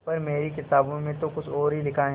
पर मेरी किताबों में तो कुछ और ही लिखा है